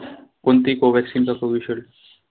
कोणती COVACCINE vaccine का COVISHIELD shiled?